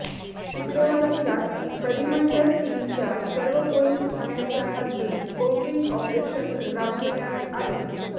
शुक्रवारी रात्री परिमंडळ तीनच्या सर्व पोलीस ठाण्याच्या हद्दीत कोम्बिंग ऑपरेशन राबविण्यात आले